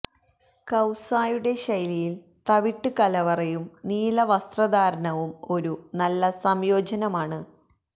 കൌസായുടെ ശൈലിയിൽ തവിട്ട് കലവറയും നീല വസ്ത്രധാരണവും ഒരു നല്ല സംയോജനമാണ്